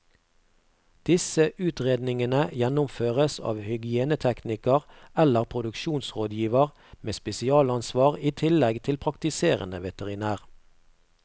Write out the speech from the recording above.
Disse utredningene gjennomføres av hygienetekniker eller produksjonsrådgiver med spesialansvar i tillegg til praktiserende veterinær.